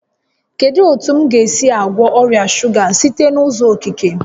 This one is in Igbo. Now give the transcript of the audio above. Kedu otu m ga-esi gwọọ ọrịa shuga site n'uzọ okike?